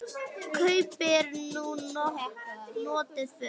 Kaupir þú notuð föt?